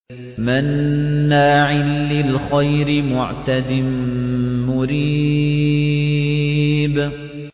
مَّنَّاعٍ لِّلْخَيْرِ مُعْتَدٍ مُّرِيبٍ